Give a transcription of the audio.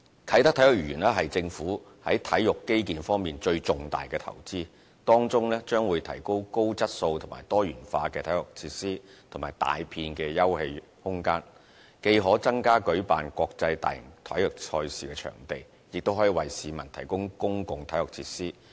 啟德體育園是政府在體育基建方面最重大的投資，當中將提供高質素和多元化體育設施及大片休憩空間，既可增加舉辦國際大型體育賽事的場地，亦可為市民提供公共體育設施。